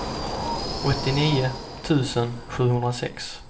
åttionio tusen sjuhundrasex